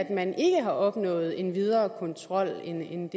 man ikke har opnået en videre kontrol end